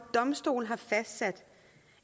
domstol har fastsat